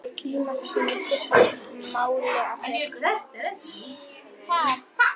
Tímasetningin skipti máli, af því tíminn var til.